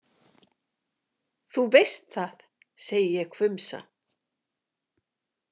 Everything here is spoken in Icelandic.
Þú veist það, segi ég hvumsa.